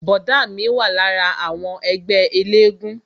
Bọ̀dá mi wà lára àwọn ẹgbẹ́ elégún